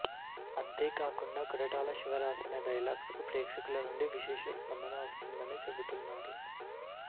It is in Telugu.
అంతే కాకుండా కొరటాల శివ రాసిన డైలాగ్స్ కు ప్రేక్షకులనుండి విశేష స్పందన వస్తుందని చెపుతున్నారు